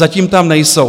Zatím tam nejsou.